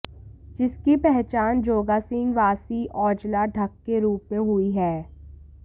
जिसकी पहचान जोगा सिंह वासी औजला ढक्क के रूप में हुई हैं